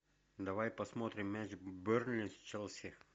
давай посмотрим матч бернли с челси